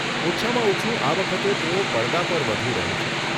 ઓછામાં ઓછું આ વખતે તેઓ પડદા પર વધુ રહે છે.